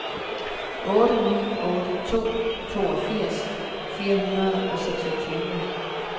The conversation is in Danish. otte ni otte to toogfirs fire hundrede og seksogtyve